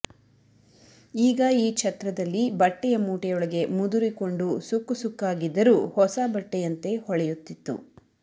ಈಗ ಈ ಛತ್ರದಲ್ಲಿ ಬಟ್ಟೆಯ ಮೂಟೆಯೊಳಗೆ ಮುದುರಿಕೊಂಡು ಸುಕ್ಕುಸುಕ್ಕಾಗಿದ್ದರೂ ಹೊಸ ಬಟ್ಟೆಯಂತೆ ಹೊಳೆಯುತ್ತಿತ್ತು